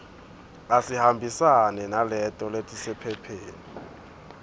atihambisane naleto letisephepheni